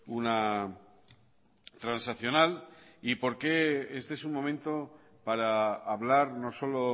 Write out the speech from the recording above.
una transaccional y por qué este es un momento para hablar no solo